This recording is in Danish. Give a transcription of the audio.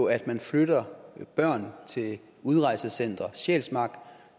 at man flytter børn til udrejsecenter sjælsmark